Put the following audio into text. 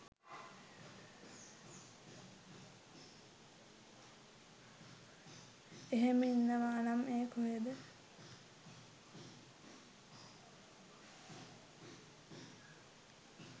එහෙම ඉන්නවානම් ඒ කොහෙද